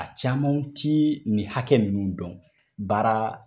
A camanw t'i ni hakɛ minnu dɔn baara